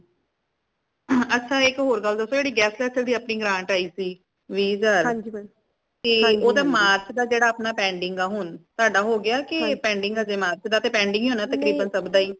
ਅੱਛਾ ਇਕ ਹੋਰ ਗੱਲ ਦਸੋ ਜੇੜੀ guest lecture ਦੀ ਜੇੜੀ ਅਪਣੀ grant ਆਈ ਸੀ ਵੀ ਹਜਾਰ ਤੇ ਮਾਰਚ ਦਾ ਅਪਣਾ ਜੇੜਾ pending ਹਾ ਹੁਣ ਤਾੜਾ ਹੋ ਗਿਆ ਕੇ pending ਹਾ ਅਜੇ ਤਕ pending ਹੀ ਹੋਣਾ ਮਾਰਚ ਦਾ ਤੇ ਸਬ ਦਾ ਹੀ